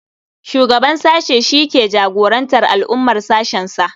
Shugaban sashe shi ke jagorantar al'amuran sashensa.